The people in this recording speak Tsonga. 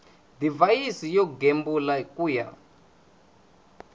divhayisi yo gembula ku ya